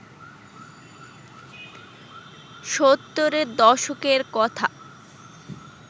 সত্তরের দশকের কথা